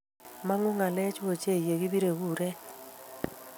mangu ngalechu ochei yo kibirei kuret